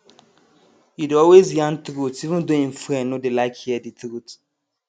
he dey always yarn truth even tho him friend no dey like hear the truth